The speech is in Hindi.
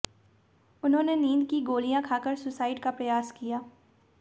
उन्होंने नींद की गोलियां खाकर सुसाइड का प्रयास किया